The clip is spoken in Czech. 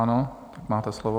Ano, máte slovo.